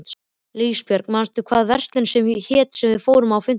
Ljósbjörg, manstu hvað verslunin hét sem við fórum í á fimmtudaginn?